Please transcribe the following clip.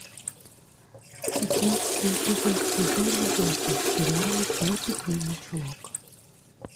шестнадцатый эпизод сезона восемь сериала пеппи длинный чулок